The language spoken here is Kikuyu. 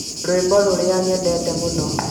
rwĩmbo rũrĩa nyendete mũno